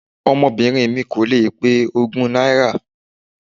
Ọmọbìnrin mi kò lè pé ogún náírà.